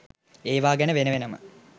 ඒවා ගැන වෙන වෙනම